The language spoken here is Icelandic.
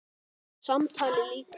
Samtali lýkur.